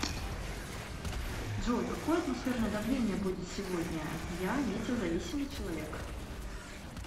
джой какое атмосферное давление будет сегодня я метеозависимый человек